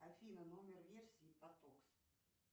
афина номер версии потокс